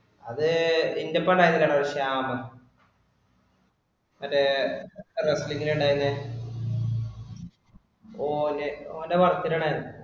അതെ നിന്റെ ഒപ്പം ഉണ്ടായിരുന്നില്ലേ ഒരു ശ്യാം. മറ്റേ wrestling ഇന് ഉണ്ടായിരുന്നെ. ഓന്റെ work ഇനാണ് അത്.